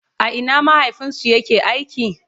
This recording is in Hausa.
a Ina mahaifinsu ya ke aiki?